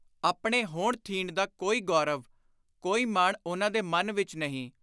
ਆਪਣੇ ਹੋਣ-ਥੀਣ ਦਾ ਕੋਈ ਗੌਰਵ, ਕੋਈ ਮਾਣ ਉਨ੍ਹਾਂ ਦੇ ਮਨ ਵਿਚ ਨਹੀਂ।